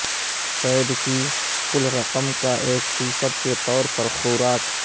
feed کی کل رقم کا ایک فی صد کے طور پر خوراک